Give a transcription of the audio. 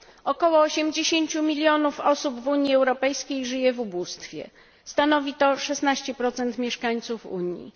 Około 80 milionów osób w Unii Europejskiej żyje w ubóstwie, stanowi to 16 mieszkańców Unii.